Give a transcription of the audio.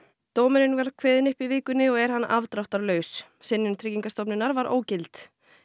dómurinn var kveðinn upp í vikunni og er hann afdráttarlaus synjun Tryggingastofnunar var ógild